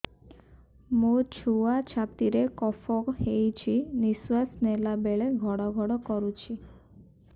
ମୋ ଛୁଆ ଛାତି ରେ କଫ ହୋଇଛି ନିଶ୍ୱାସ ନେଲା ବେଳେ ଘଡ ଘଡ କରୁଛି